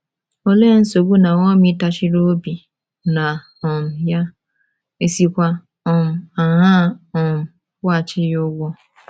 Olee nsogbu Naomi tachiri obi na um ya, è sikwa um aṅaa um kwụghachi ya ụgwọ?